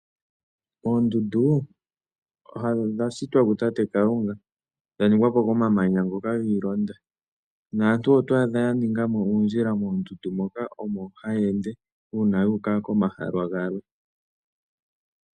Oondundu odha shitwa ku tate Kalunga , dha ningwa momamanya ga londathana. Aantu oto adha ya ninga mo oondjila momamanya moka omo haya ende uuna ya uka komahala gamwe.